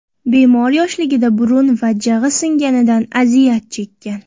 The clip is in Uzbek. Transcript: Bemor yoshligida burun va jag‘i singanidan aziyat chekkan.